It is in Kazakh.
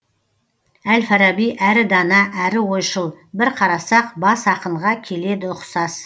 әл фараби әрі дана әрі ойшыл бір қарасақ бас ақынға келеді ұқсас